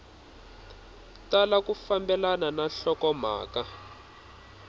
tala ku fambelana na nhlokomhaka